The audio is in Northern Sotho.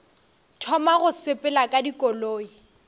thoma go sepela ka dikoloi